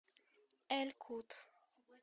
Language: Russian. эль кут